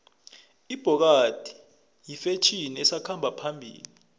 ibhokadi yifetjheni esakhamba phambili